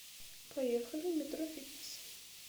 поехали метрофитнесс